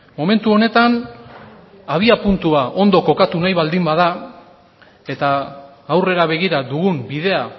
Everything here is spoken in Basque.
momentu honetan abiapuntua ondo kokatu nahi baldin bada eta aurrera begira dugun bidea